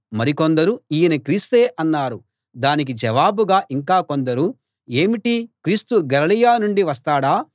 మరికొందరు ఈయన క్రీస్తే అన్నారు దానికి జవాబుగా ఇంకా కొందరు ఏమిటీ క్రీస్తు గలిలయ నుండి వస్తాడా